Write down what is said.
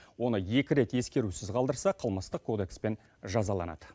оны екі рет ескерусіз қалдырса қылмыстық кодекспен жазаланады